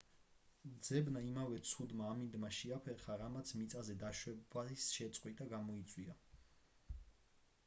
ძებნა იმავე ცუდმა ამინდმა შეაფერხა რამაც მიწაზე დაშვების შეწყვეტა გამოიწვია